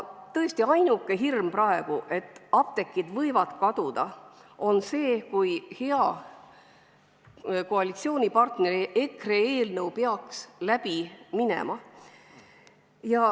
Tõesti, hirmuks, et apteegid võivad kaduda, on põhjust ainult siis, kui hea koalitsioonipartneri EKRE eelnõu peaks läbi minema.